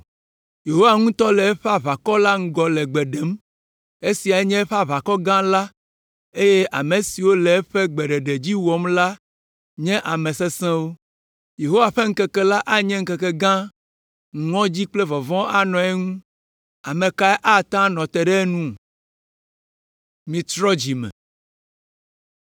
Yehowa ŋutɔ le eƒe aʋakɔ la ŋgɔ le gbe ɖem. Esiae nye eƒe aʋakɔ gã la eye ame siwo le eƒe gbeɖeɖe dzi wɔm la nye ame sesẽwo. Yehowa ƒe ŋkeke la anye ŋkeke gã, ŋɔdzi kple vɔvɔ̃ anɔ eŋu. Ame kae ate ŋu anɔ te ɖe enu?